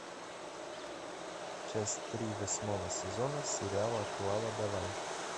часть три восьмого сезона сериала клава давай